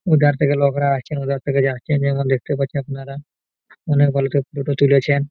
ওধার থেকে লোকরা আসছে ওধার থেকে যাচ্ছে যেমন দেখতে পাচ্ছেন আপনারা অনেক ভালো তুলেছেন।